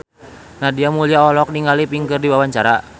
Nadia Mulya olohok ningali Pink keur diwawancara